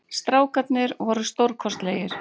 Strákarnir voru stórkostlegir